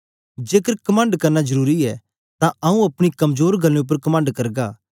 जेकर कमंड करना जरुरी ऐ तां आंऊँ अपनी कमजोर गल्लें उपर कमंड करगा